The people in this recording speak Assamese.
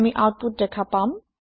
আমি আওতপুত দেখা পাম